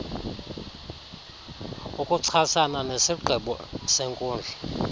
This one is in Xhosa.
ukuchasana nesigqibo senkundla